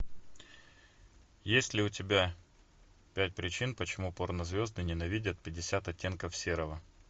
есть ли у тебя пять причин почему порнозвезды ненавидят пятьдесят оттенков серого